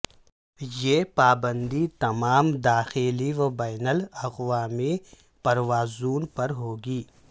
یہ پابندی تمام داخلی و بین الاقوامی پروازوں پر ہوگی